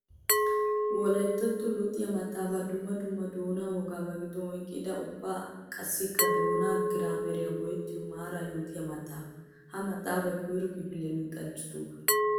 Wolayttato luxiyo maxafay dumma dumma doona wogaa ba gidon oyqqidda ubba qassikka doona giraameriya go'ettuwa maara yootiya maxafa. Ha maxafay koyro kifiliya luxanchchatuuga.